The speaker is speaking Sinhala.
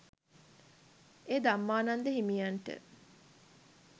එය ධම්මානන්ද හිමියන්ට